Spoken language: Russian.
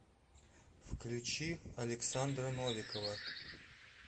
включи александра новикова